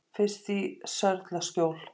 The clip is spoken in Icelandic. Fyrst í Sörlaskjól.